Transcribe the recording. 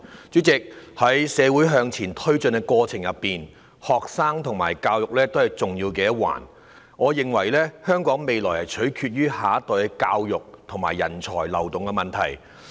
主席，在社會發展的過程中，學生和教育都是重要的一環，我認為香港未來取決於下一代的教育和人才的流動。